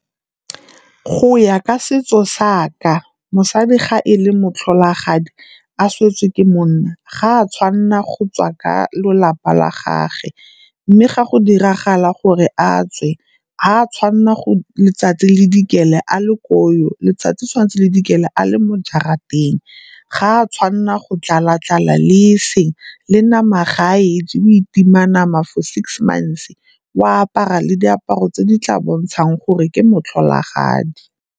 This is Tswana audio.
Go ya ka setso sa ka, mosadi ga e le motlholagadi a swetse ke monna ga a tshwanela go tswa ka lelapa la gage. Mme ga go diragala gore a tswe ga a tshwanela letsatsi le dikele a le koo, letsatsi le tshwanetse le dikele a le mo jarateng. Ga a tshwanela go tlala-tlala le e seng, le nama ga a e je o itima nama for six months, o apara le diaparo tse di tla bontshang gore ke motlholagadi.